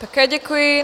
Také děkuji.